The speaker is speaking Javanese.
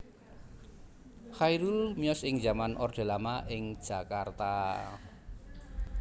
Chairul miyos ing zaman orde lama ing Jakarta